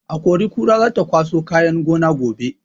Akori-kora za ta kwaso kayan gona gobe.